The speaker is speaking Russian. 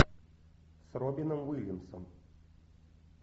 с робином уильямсом